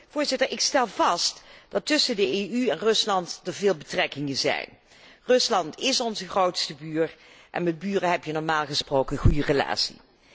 Voorzitter, ik stel vast dat er tussen de EU en Rusland veel betrekkingen zijn. Rusland is onze grootste buur en met buren heb je normaal gesproken een goede relatie.